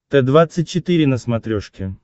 т двадцать четыре на смотрешке